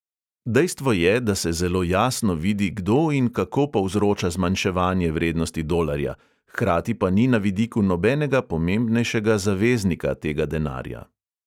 Dejstvo je, da se zelo jasno vidi, kdo in kako povzroča zmanjševanje vrednosti dolarja, hkrati pa ni na vidiku nobenega pomembnejšega zaveznika tega denarja.